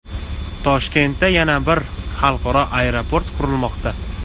Toshkentda yana bir xalqaro aeroport qurilmoqda .